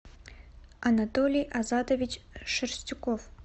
анатолий азатович шерстюков